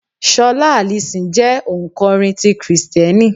Ṣọlá Allison jẹ́ ò ǹ kọrin ti Kristẹni.